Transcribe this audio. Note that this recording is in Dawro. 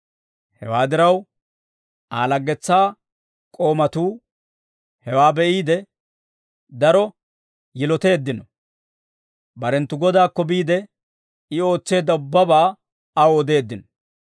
Hewaa diraw, Aa laggetsaa k'oomatuu hewaa be'iide, daro yiloteeddino; barenttu godaakko biide, I ootseedda ubbabaa aw odeeddino.